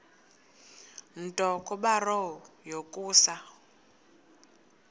nto kubarrow yokusa